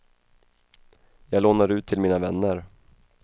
Jag lånar ut till mina vänner.